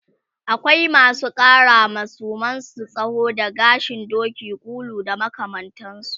akwai masu ƙarawa suman su tsawo da gashin Doki, ƙulu da makamantansu